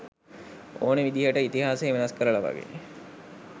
ඕනේ විදිහට ඉතිහාසය වෙනස් කරලා වගේ.